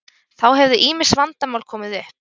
Þá hefðu ýmis vandamál komið upp